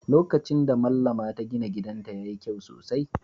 Lokacin da Mallama ta gina gidanta, ya yi kyau sosai